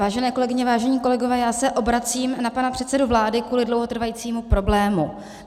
Vážené kolegyně, vážení kolegové, já se obracím na pana předsedu vlády kvůli dlouhotrvajícímu problému.